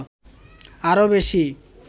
আরো বেশী